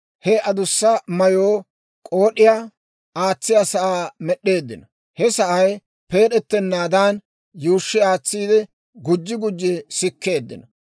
He adussa mayoo k'ood'iyaa aatsiyaa sa'aa med'd'eeddino; he sa'ay peed'ettenaadan, yuushshi aatsiide gujji gujji sikkeeddino.